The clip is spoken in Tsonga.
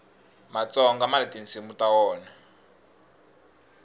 matsonga mani tinsimu ta wona